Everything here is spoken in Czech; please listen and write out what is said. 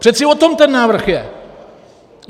Přeci o tom ten návrh je!